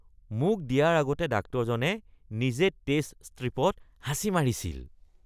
মোক দিয়াৰ আগতে ডাক্তৰজনে নিজে টেষ্ট ষ্ট্ৰিপত হাঁচি মাৰিছিল।